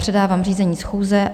Předávám řízení schůze.